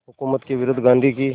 हुकूमत के विरुद्ध गांधी की